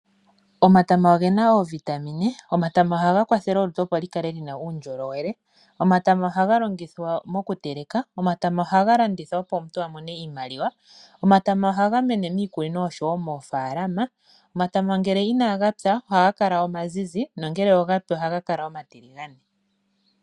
Omatama oge na oovitamine. Oha ga kwathele olutu opo lukale lu na uundjolowele na oha ga longithwa moku teleka. Aantu oha ye ga landitha opo ya mone iimaliwa. Oha ga mene miikunino nosho woo moofaalama. Ngele inaa gapya oha ga kala omazizi na uuna gapi oha ga kala omatiligane.